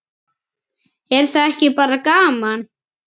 Er það ekki bara gaman?